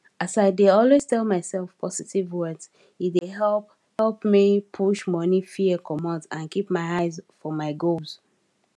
as i dey always tell myself positive words e dey help help me push money fear comot and keep my eye for my goals